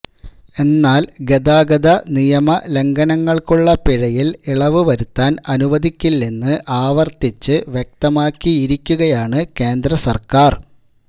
എന്നാല് ഗതാഗത നിയമലംഘനങ്ങള്ക്കുള്ള പിഴയില് ഇളവ് വരുത്താന് അനുവദിക്കില്ലെന്ന് ആവര്ത്തിച്ച് വ്യക്തമാക്കിയിരിക്കുകയാണ് കേന്ദ്ര സര്ക്കാര്